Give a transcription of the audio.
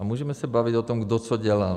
A můžeme se bavit o tom, kdo co dělal.